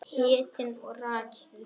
Hitinn og rakinn.